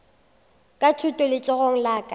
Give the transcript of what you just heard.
thuto ka letsogong la ka